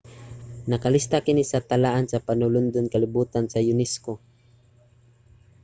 nakalista kini sa talaan sa panulondon sa kalibotan sa unesco